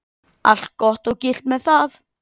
Allt gott og gilt með það.